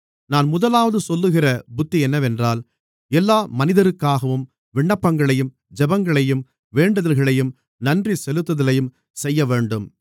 நான் முதலாவது சொல்லுகிற புத்தி என்னவென்றால் எல்லா மனிதருக்காகவும் விண்ணப்பங்களையும் ஜெபங்களையும் வேண்டுதல்களையும் நன்றிசெலுத்துதலையும் செய்யவேண்டும்